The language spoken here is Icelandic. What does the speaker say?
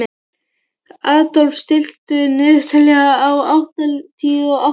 Adolf, stilltu niðurteljara á áttatíu og átta mínútur.